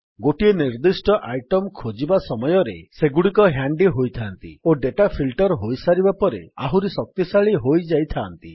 ଗୋଟିଏ ନିର୍ଦ୍ଦିଷ୍ଟ ଆଇଟମ୍ ଖୋଜିବା ସମୟରେ ସେଗୁଡ଼ିକ ହ୍ୟାଣ୍ଡୀ ହୋଇଥାନ୍ତି ଓ ଡେଟା ଫିଲ୍ଟର୍ ହୋଇସାରିବା ପରେ ଆହୁରି ଶକ୍ତିଶାଳୀ ହୋଇଯାଇଥାନ୍ତି